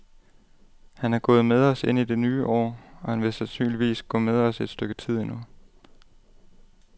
Han er gået med os ind i det nye år, og han vil sandsynligvis gå med os et stykke tid endnu.